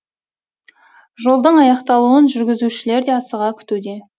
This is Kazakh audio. жолдың аяқталуын жүргізушілер де асыға күтуде